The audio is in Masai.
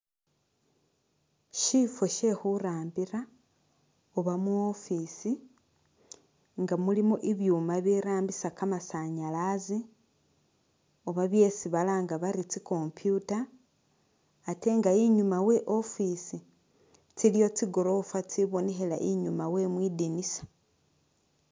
Shifo shee khurambira oba mu office nga mulimo ibyuuma birambisa kamasanyazi oba byesi balanga bari tsi computer ,atee nga inyuma wee office tsiliyo tsi’gorofa tsibonekhela inyuma wee mwidinisa.